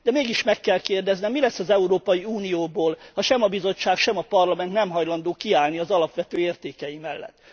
De mégis meg kell kérdeznem, mi lesz az Európai Unióból, ha sem a Bizottság, sem a Parlament nem hajlandó kiállni az alapvető értékei mellett?